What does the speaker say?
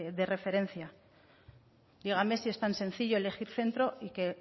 de referencia dígame si es tan sencillo elegir centro y que